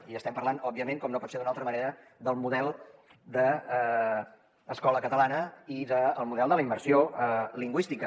i estem parlant òbviament com no pot ser d’una altra manera del model d’escola catalana i del model de la immersió lingüística